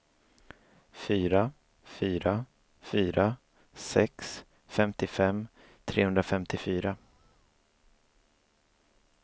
fyra fyra fyra sex femtiofem trehundrafemtiofyra